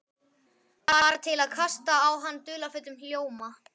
Bara til að kasta á hann dularfullum ljóma.